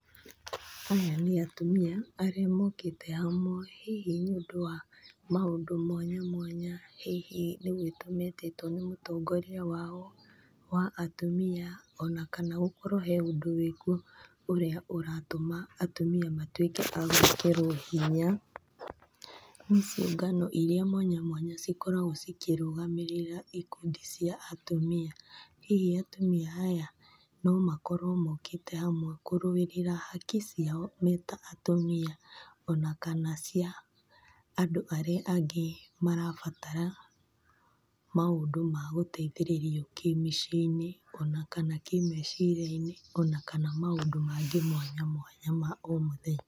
Aya nĩ atumia arĩa mokĩte hamwe hihi nĩũndũ wa maũndũ mwanya mwanya hihi nĩgwĩtwa mĩtĩtwe nĩ mũtongoria wao wa atumia, ona gũkorwo he ũndũ wĩkuo ũrĩa ũratũma atumia matuĩke agwĩkĩrwa hinya, nĩciũngana mwanya mwanya cikoragwo cikĩrũgamĩrĩra ikundi cia atumia, hihi atumia aya nomakorwe mokĩte hamwe kũrũĩrĩra haki ciao meta atumia ona kana cia andũ arĩa angĩ marabatara maũndũ ma gũteithĩrĩrio kĩmĩciĩinĩ ona kana kĩmeciriainĩ ona kana maũndũ mangĩ mwanya mwanya ma omũthenya.